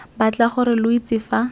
batla gore lo itse fa